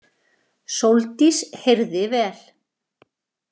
Sóldís heyrði vel.